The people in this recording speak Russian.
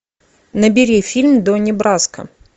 набери фильм донни браско